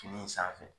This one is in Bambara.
Fini in sanfɛ